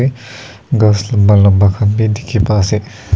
ghas lamba lamba khan bi dikhi pai se.